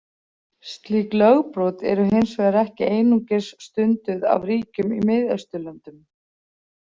Slík lögbrot eru hins vegar ekki einungis stunduð af ríkjum í Miðausturlöndum.